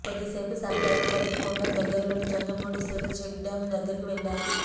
కొద్ది సేపు సరదాగా గడిపి కొండకు దగ్గర్లోని జంగమూడిశెల చెక్డ్యాం దగ్గరకు వెళ్లారు